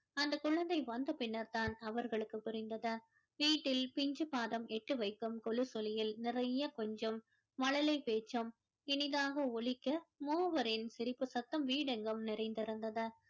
அந்தக் குழந்தை வந்த பின்னர் தான் அவர்களுக்கு புரிந்தது வீட்டில் பிஞ்சு பாதம் எட்டு வைக்கும் கொலுசொளியில் நிறைய கொஞ்சும் மழலை பேச்சும் இனிதாக ஒளிக்க மூவரின் சிரிப்பு சத்தம் வீடு எங்கும் நிறைந்து இருந்தது